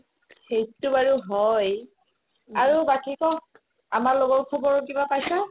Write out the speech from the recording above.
সেইটো বাৰু হয় আৰু বাকি ক' আমাৰ লগৰ খবৰ কিবা পাইছা